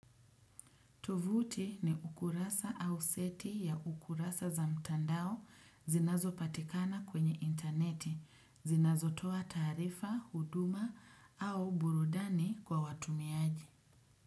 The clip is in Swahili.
Tovuti ni ukurasa au seti ya ukurasa za mtandao zinazopatikana kwenye interneti, zinazotoa taarifa, huduma au burudani kwa watumiaji.